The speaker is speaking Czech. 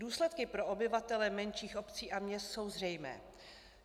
Důsledky pro obyvatele menších obcí a měst jsou zřejmé.